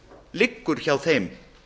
liggur hjá þeim